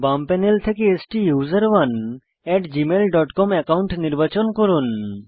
বাম প্যানেল থেকে STUSERONEgmail dot com account নির্বাচন করুন